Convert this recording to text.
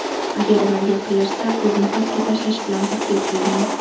Agar ular yaqinlashsa, o‘zini pastga tashlashi bilan tahdid qilgan.